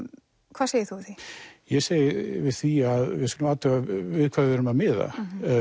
hvað segir þú við því ég segi við því að við skulum athuga við hvað við erum að miða